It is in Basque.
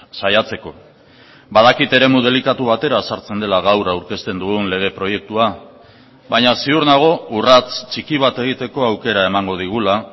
saiatzeko badakit eremu delikatu batera sartzen dela gaur aurkezten dugun lege proiektua baina ziur nago urrats txiki bat egiteko aukera emango digula